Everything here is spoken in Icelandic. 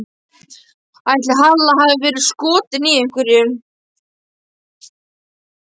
Ætli Halla hafi verið skotin í einhverjum?